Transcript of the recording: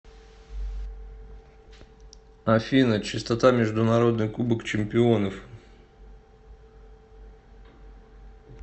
афина частота международный кубок чемпионов